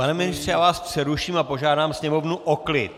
Pane ministře, já vás přeruším a požádám Sněmovnu o klid.